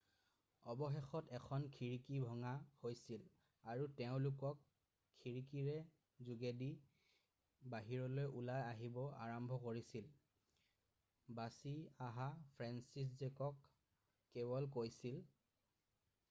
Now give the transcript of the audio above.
অৱশেষত এখন খিৰিকি ভঙা হৈছিল আৰু তেওঁলোকে খিৰিকিৰ যোগেদি বাহিৰলৈ ওলাই আহিবলৈ আৰম্ভ কৰিছিল বাছি অহা ফ্ৰেন্সিছজেক কোৱালে কৈছিল